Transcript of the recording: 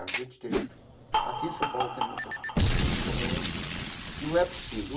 A gente tem, aqui em São Paulo tem muita gente que sonha que não é possível.